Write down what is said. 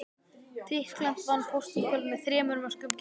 Tyrkland vann Portúgal með þremur mörkum gegn einu.